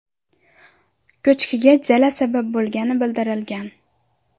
Ko‘chkiga jala sabab bo‘lgani bildirilgan.